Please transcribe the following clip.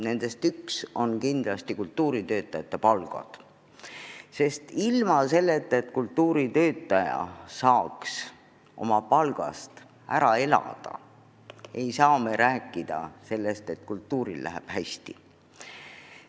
Nendest üks on kindlasti kultuuritöötajate palgad, sest ilma selleta, et kultuuritöötaja saaks oma palgast ära elada, ei saa me rääkida, et kultuuril läheb hästi.